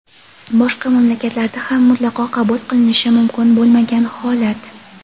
boshqa mamlakatlarda ham mutlaqo qabul qilinishi mumkin bo‘lmagan holat.